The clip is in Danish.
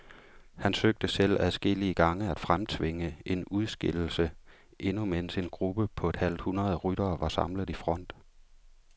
Han søgte selv adskillige gange at fremtvinge en udskillelse, endnu mens en gruppe på et halvt hundrede ryttere var samlet i front.